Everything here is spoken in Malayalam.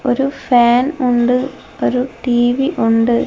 ഒരു ഫാൻ ഉണ്ട് ഒരു ടിവി ഉണ്ട്.